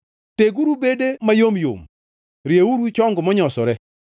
Teguru bede mayom yom, rieuru chong monyosore;